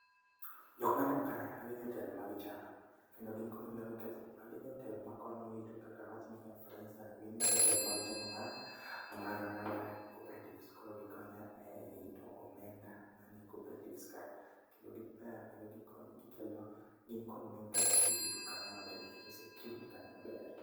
Jok maneno kae, magi jotelo mag chama. Kendo gin kod nengo nikech magi jotelo makonyo rito kaka awach ni for instance gin jotelo mag chama mar cooperatives koro gikonyo e rito omenda manie cooperatives kanyo kendo giber ,kendo gikonyo ,gikelo gin kod nengo nikech girito kanyo maber, girito security kanyo maber